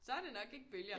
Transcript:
Så er det nok ikke bølger